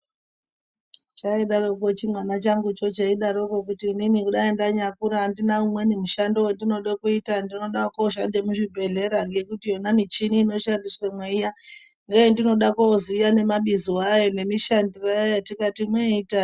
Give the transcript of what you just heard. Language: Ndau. Chaidarokwo chimwana changu cho cheidaroko kuti inini kudai ndanyakura handina umweni mushando wendinode kuita ndinoda kooshanda muzvibhedhlera ngekuti yona michini inoshandiswemwo iya ndoyandinoda kooziya nemabizo ayo nemishandiro yayo yeinoita.